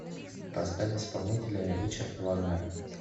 поставь исполнителя ричард вагнер